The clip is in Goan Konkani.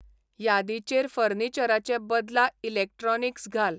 यादीचेर फर्निचराचे बदला इलॅक्ट्रॉनीक्स घाल